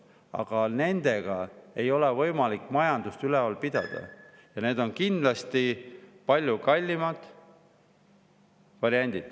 Aga nende ei ole võimalik majandust üleval pidada ja need on kindlasti palju kallimad variandid.